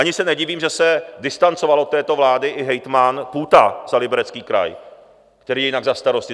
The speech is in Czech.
Ani se nedivím, že se distancoval od této vlády i hejtman Půta za Liberecký kraj, který je jinak za Starosty.